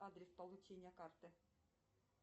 адрес получения карты